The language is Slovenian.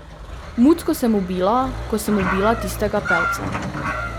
Mucko sem ubila, ko sem ubila tistega pevca.